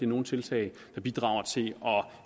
nogen tiltag der bidrager til at